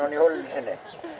í holunni sinni